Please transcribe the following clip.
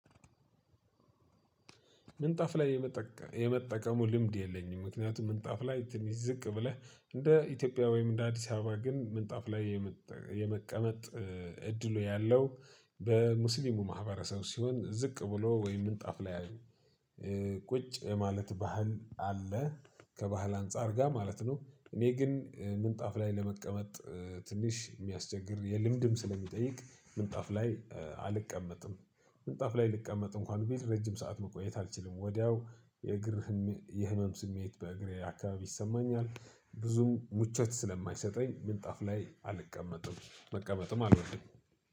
ምንጣፍ ላይ የመጠቀሙ ልምድ የለኝም። ምክንያቱም ምንጣፍ ላይ ትንሽ ዚቅ ብለህ እነደ ኢትዮጵያ ወይም እነደ አዲስ አበባ ምንጣፍ ላይ የመቀመጥ እድሉ ያለው በ ሙስሊሙ ማህበረሰብ ሲሆን ቁጭ የማለት ባህል አለ ከባህል አንፃር ጋር ማለት ነው። እኔ ግን ምንጣፍ ላይ ለመቀመጥ ትንሽ የሚያስቸግር የልምድም ስለሚጠይቅ ምንጣፍ ላይ አልቀመጥም። ምንጣፍ ላይ ልቀመጥ እንኳን ቤት ረጅም ሰዓት መቆየት አልችልም። ወዲያው የእግር የህመም ስሜት በእግሬ አካባቢ ይሰማኛል። ብዙም ምቾት ስለማይሰጠኝ ምንጣፍ ላይ አልቀመጥም መቀመጥም አልወድም።